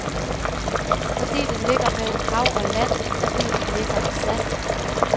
Fordi den ligger mellem hav og land, fordi den ligger i sand.